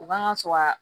U kan ka sura